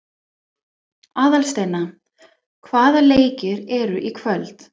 Aðalsteina, hvaða leikir eru í kvöld?